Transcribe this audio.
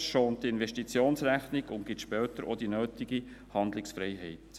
Dies schont die Investitionsrechnung und gibt später auch die nötige Handlungsfreiheit.